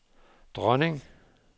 dronning